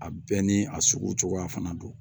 A bɛɛ ni a sugu cogoya fana don